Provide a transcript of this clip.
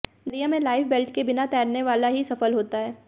दरिया में लाइफबैल्ट के बिना तैरने वाला ही सफल होता है